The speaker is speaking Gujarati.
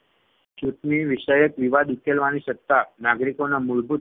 ચૂંટણી વિષયક વિવાદ ઉકેલવાની સત્તા નાગરિકોના મૂળભૂત